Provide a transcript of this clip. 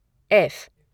F